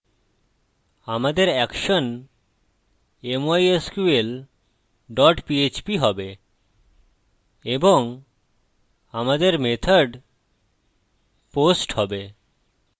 আমাদের action mysql dot php হবে এবং আমাদের method post হবে